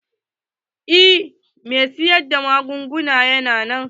Eh mai siyar da magunguna yana nan.